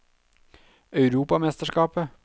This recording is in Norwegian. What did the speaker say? europamesterskapet